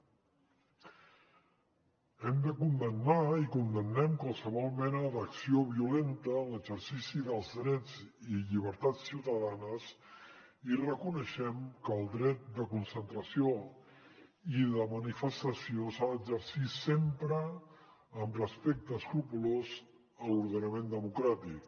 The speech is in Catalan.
hem de condemnar i condemnem qualsevol mena d’acció violenta en l’exercici dels drets i llibertats ciutadanes i reconeixem que el dret de concentració i de manifestació s’ha d’exercir sempre amb respecte escrupolós a l’ordenament democràtic